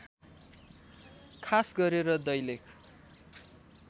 खास गरेर दैलेख